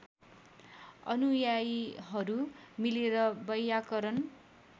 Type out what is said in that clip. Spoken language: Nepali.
अनुयायीहरू मिलेर वैयाकरण